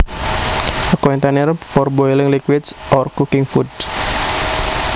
A container for boiling liquids or cooking food